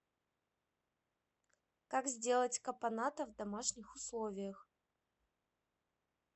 как сделать капоната в домашних условиях